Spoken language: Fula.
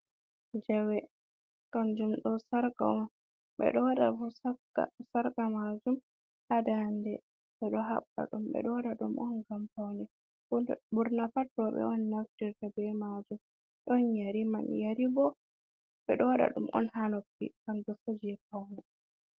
Jawe kanjum ɗo sarka on beɗo wada sarka bo ha dande, beɗo habba dum beɗo waɗaɗum on gam faune ɓurna pat roɓe on naftirta be majum. don yeri man yari bo bedo wada dum on ha noppi kanjm bo je faune.